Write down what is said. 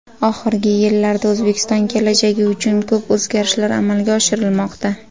Oxirgi yillarda O‘zbekiston kelajagi uchun ko‘p o‘zgarishlar amalga oshirilmoqda.